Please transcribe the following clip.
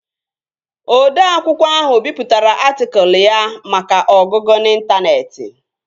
Odee akwụkwọ ahụ bipụtara atịkụl ya maka ọgụgụ n'intaneeti